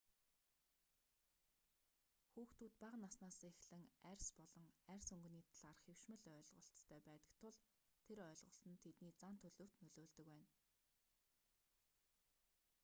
хүүхдүүд бага наснаасаа эхлэн арьс болон арьс өнгний талаарх хэвшмэл ойлголтыг аьдаг тул тэр ойлголт нь тэдний зан төлөвт нөлөөлдөг байна